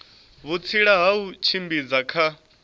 vhutsila ha u tshimbidza kha